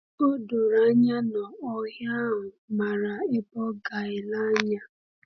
O doro anya na ohi ahụ maara ebe ọ ga-ele anya.